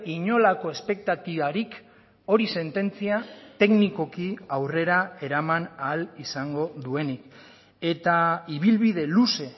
inolako espektatibarik hori sententzia teknikoki aurrera eraman ahal izango duenik eta ibilbide luze